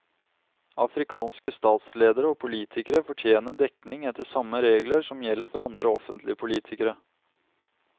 Afrikanske statsledere og politikere fortjener dekning etter samme regler som gjelder for andre offentlige politikere.